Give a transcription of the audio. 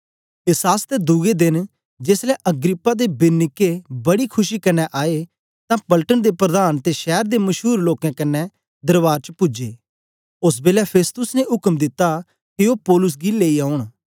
एस आसतै दुए देन जेसलै अग्रिप्पा ते बिरनीके बड़ी खुशी कन्ने आए तां पलटन दे प्रधान ते शैर दे मशूर लोकें कन्ने दरवार च पूजे ओस बेलै फेस्तुस ने उक्म दिता के ओ पौलुस गी लेई औन